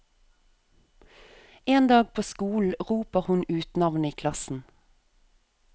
En dag på skolen roper hun ut navnet i klassen.